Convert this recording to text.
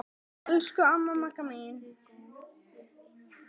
Elsku amma Magga mín.